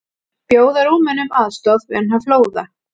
Bjóða Rúmenum aðstoð vegna flóða